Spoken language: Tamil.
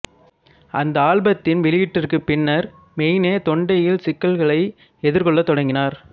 அந்த ஆல்பத்தின் வெளியீட்டிற்கு பின்னர் மெயினே தொண்டையில் சிக்கல்களை எதிர்கொள்ள தொடங்கினார்